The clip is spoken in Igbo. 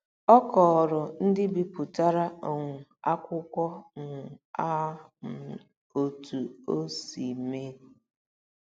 Ọ kọọrọ ndị bipụtara um akwụkwọ um a um otú o si mee.